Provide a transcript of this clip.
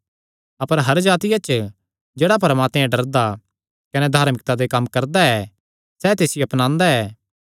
अपर हर जातिया च जेह्ड़ा परमात्मे ते डरदा कने धार्मिकता दे कम्म करदा ऐ सैह़ तिसियो अपनांदा ऐ